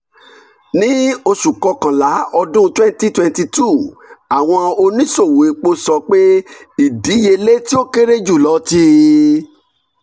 ni oṣu kọkanla ọdun twenty twenty two awọn oniṣowo epo sọ pe idiyele ti o kere julọ ti